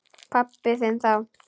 Pabba þinn þá.